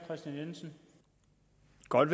godt